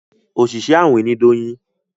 Oṣiṣẹ awin ní Doyin